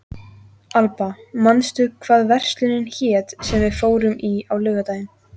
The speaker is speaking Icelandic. Alba, manstu hvað verslunin hét sem við fórum í á laugardaginn?